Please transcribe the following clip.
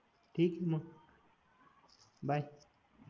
ठीके मग बाय